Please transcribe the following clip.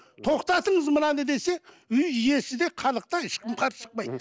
тоқтатыңыз мынаны десе үй иесі де халық та ешкім қарсы шықпайды